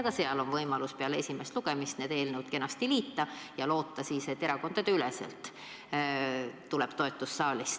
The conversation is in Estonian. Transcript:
Ka siin on võimalus peale esimest lugemist need eelnõud kenasti liita ja loota, et erakondadeüleselt tuleb saalist toetus.